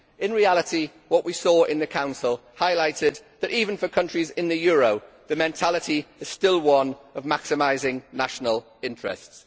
In reality what we saw in the Council highlighted that, even for countries in the euro, the mentality is still one of maximising national interests.